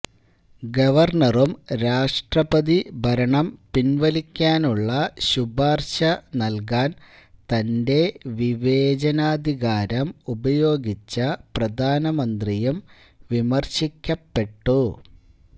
ഗവര്ണറും രാഷ്ട്രപതി ഭരണം പിന്വലിക്കാനുള്ള ശുപാര്ശ നല്കാന് തന്റെ വിവേചനാധികാരം ഉപയോഗിച്ച പ്രധാനമന്ത്രിയും വിമര്ശിക്കപ്പെട്ടു